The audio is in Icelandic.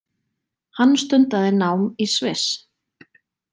Hann stundaði nám í Sviss